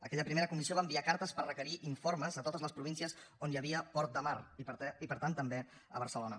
aquella primera comissió va enviar cartes per requerir informes a totes les províncies on hi havia port de mar i per tant també a barcelona